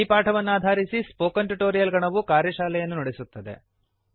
ಈ ಪಾಠವನ್ನಾಧಾರಿಸಿ spoken tutorial ಗಣವು ಕಾರ್ಯಶಾಲೆಯನ್ನು ನಡೆಸುತ್ತದೆ